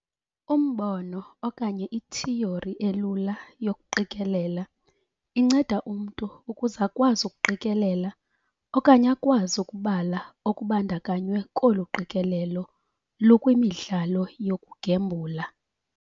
Umbono okanye ithiyori elula yokuqikelela inceda umntu ukuze akwazi ukuqikelela okanye akwazi ukubala okubandakanywe kolu qikelelo lukwimidlalo yokugembula.